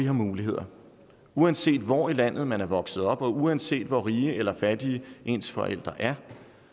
har muligheder uanset hvor i landet man er vokset op og uanset hvor rige eller fattige ens forældre er